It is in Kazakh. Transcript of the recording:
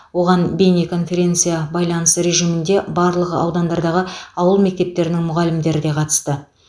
оған бейнеконференция байланыс режимінде барлық аудандардағы ауыл мектептерінің мұғалімдері де қатысты